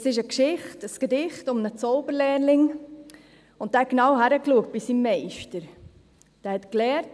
Das ist eine Geschichte, ein Gedicht, in dem es um einen Zauberlehrling geht, der bei seinem Meister gut hinschaute.